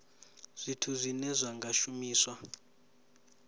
zwithu zwine zwa nga shumiswa